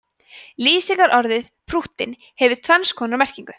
lýsingarorðið prúttinn hefur tvenns konar merkingu